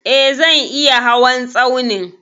E, zan iya hawan tsaunin.